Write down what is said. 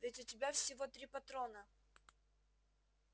ведь у тебя всего три патрона